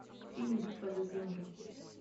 фильм битва за землю